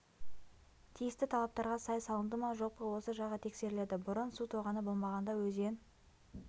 тиісті талаптарға сай салынды ма жоқ па осы жағы тексеріледі бұрын су тоғаны болмағанда өзен